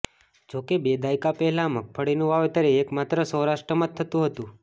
જોકે બે દાયકા પહેલાં મગફળીનું વાવેતર એક માત્ર સૌરાષ્ટ્રમાં જ થતું હતું